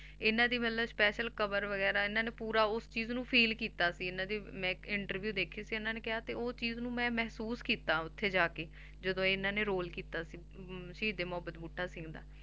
ਇਹਨਾਂ ਦੀ ਮਤਲਬ special cover ਵਗ਼ੈਰਾ ਇਹਨਾਂ ਨੇ ਪੂਰਾ ਉਸ ਚੀਜ਼ ਨੂੰ feel ਕੀਤਾ ਸੀ ਇਹਨਾਂ ਦੀ ਮੈਂ ਇੱਕ interview ਦੇਖੀ ਸੀ ਇਹਨਾਂ ਨੇ ਕਿਹਾ ਤੇ ਉਹ ਚੀਜ਼ ਨੂੰ ਮੈਂ ਮਹਿਸੂਸ ਕੀਤਾ ਉੱਥੇ ਜਾ ਕੇ ਜਦੋਂ ਇਹਨਾਂ ਨੇ ਰੋਲ ਕੀਤਾ ਸੀ ਅਮ ਸ਼ਹੀਦੇ ਮੁਹੱਬਤ ਬੂਟਾ ਸਿੰਘ ਦਾ,